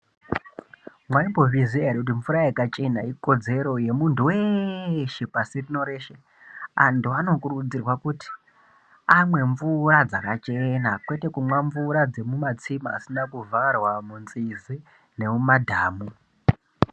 Maimbozviziya ere kuti mvura yakachena ikodzero yemuntu weeeshe pashi rino reshe antu anokurudzirwa kuti amwe mvura dzakachena kwete kumwa mvura dzemumatsime asina kuvharwa , munzizi nemumadhamu.